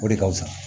O de ka fusa